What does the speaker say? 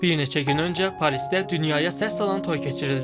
Bir neçə gün öncə Parisdə dünyaya səs salan toy keçirildi.